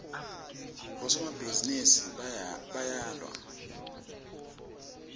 bosomabhizinisi bayawa